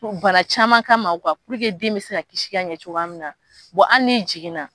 Bana caman kama den bɛ se ka kisi ka ɲɛ cogoya min na hali n'i jiginna